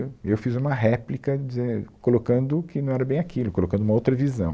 eu, eu fiz uma réplica dizen, colocando que não era bem aquilo, colocando uma outra visão.